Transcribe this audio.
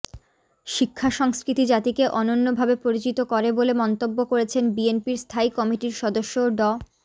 শিক্ষা সংস্কৃতি জাতিকে অনন্যভাবে পরিচিত করে বলে মন্তব্য করেছেন বিএনপির স্থায়ী কমিটির সদস্য ড